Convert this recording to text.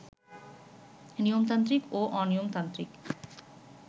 নিয়মতান্ত্রিক ও অনিয়মতান্ত্রিক